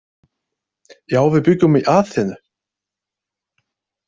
Já, við bjuggum í Aþenu.